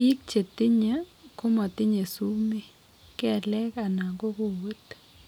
Biik chetinye komatinye sumeek, kelek anan ko kowet